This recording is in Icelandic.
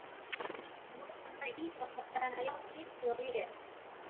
Notar hann íþróttafræðina jafn mikið og ég?